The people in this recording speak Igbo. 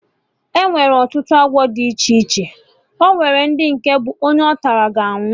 Enwere ọtụtụ agwọ dị iche iche, onwere ndị nke bụ onye ọtara, ga anwụ